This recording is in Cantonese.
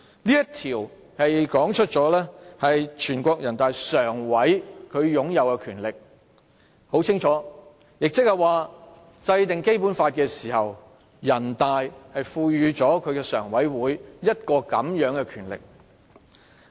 "這項條文清楚說明人大常委會擁有的權力，即是說，制定《基本法》時，全國人大賦予了人大常委會這個權力。